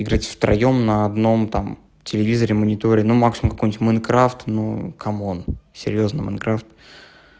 играть втроём на одном телевизоре мониторе ну максимум какой-нибудь майнкрафт ну камон серьёзно майнкрафт